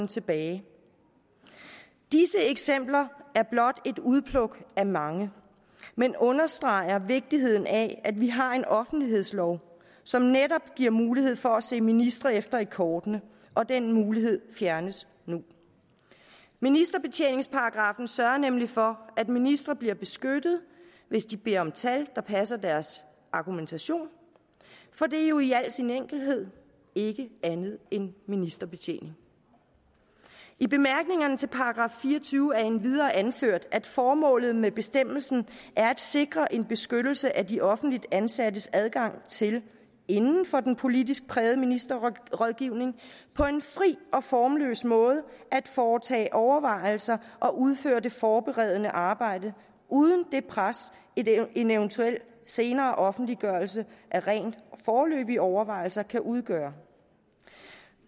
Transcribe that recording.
tilbage disse eksempler er blot et udpluk af mange men understreger vigtigheden af at vi har en offentlighedslov som netop giver mulighed for at se ministre efter i kortene og den mulighed fjernes nu ministerbetjeningsparagraffen sørger nemlig for at ministre bliver beskyttet hvis de beder om tal der passer med deres argumentation for det er jo i al sin enkelhed ikke andet end ministerbetjening i bemærkningerne til § fire og tyve er det endvidere anført at formålet med bestemmelsen er at sikre en beskyttelse af de offentligt ansattes adgang til inden for den politisk prægede ministerrådgivning på en fri og formløs måde at foretage overvejelser og udføre det forberedende arbejde uden det pres en eventuel senere offentliggørelse af rent foreløbige overvejelser kan udgøre